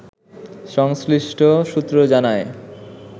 সংশ্লিষ্ট সূত্র জানায়